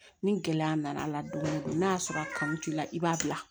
Ni gɛlɛya nana don o don n'a y'a sɔrɔ a kanu t'i la i b'a bila